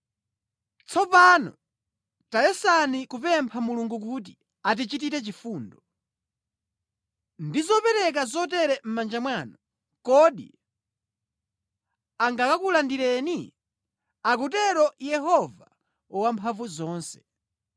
“Tsopano tayesani kupempha Mulungu kuti akuchitireni chifundo. Kodi ndi zopereka zotere mʼmanja mwanu, Iye angakulandireni?” Akutero Yehova Wamphamvuzonse.